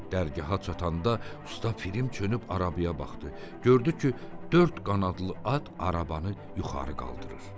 Dərgaha çatanda usta Pifirim çönüb arabaya baxdı, gördü ki, dörd qanadlı at arabanı yuxarı qaldırır.